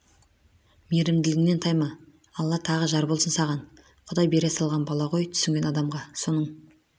мейірімділігіңнен тайма алла тағы жар болсын саған құдай бере салған бала ғой түсінген адамға соның